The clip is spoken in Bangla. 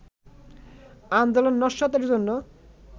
আন্দোলন নস্যাতের জন্য